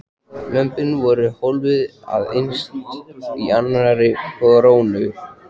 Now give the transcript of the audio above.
Lömbin voru hólfuð af innst í annarri krónni.